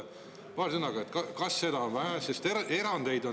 paari sõnaga, kas seda on vähe.